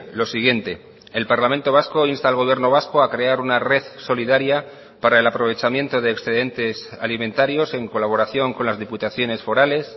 lo siguiente el parlamento vasco insta al gobierno vasco a crear una red solidaria para el aprovechamiento de excedentes alimentarios en colaboración con las diputaciones forales